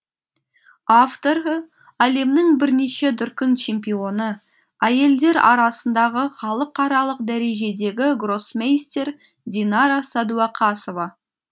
авторы әлемнің бірнеше дүркін чемпионы әйелдер арасындағы халықаралық дәрежедегі гроссмейстер динара сәдуақасова